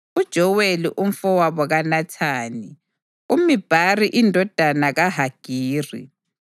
uJoweli umfowabo kaNathani, uMibhari indodana kaHagiri,